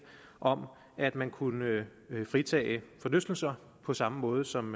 om at man kunne fritage forlystelser på samme måde som